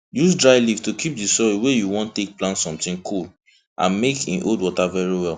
use dry leaf to keep di soil wey you wan take plant sometin cool and make hin hold water very well